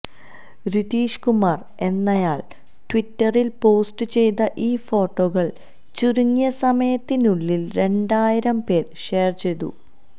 റിതീഷ് കുമാര് എന്നയാള് ട്വിറ്ററില് പോസ്റ്റ് ചെയ്ത ഈ ഫോട്ടോകള് ചുരുങ്ങിയ സമയത്തിനുള്ളില് രണ്ടായിരം പേര് ഷെയര് ചെയ്തു